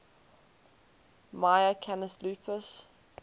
mya canis lupus